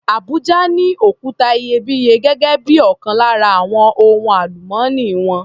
Abuja ní òkuta iyebíye gẹ́gé bí ọkan lára àwon ohun àlùmọ́nì wọn.